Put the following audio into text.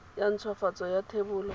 ya nthwafatso ya thebolo ya